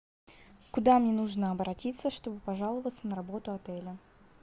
куда мне нужно обратиться чтобы пожаловаться на работу отеля